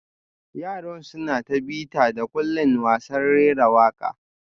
Yaran suna ta bita-da-kullin wasan rera waka